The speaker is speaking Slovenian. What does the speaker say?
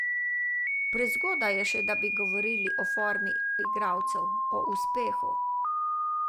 Prezgodaj je še, da bi govorili o formi igralcev, o uspehu...